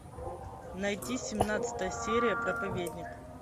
найти семнадцатая серия проповедник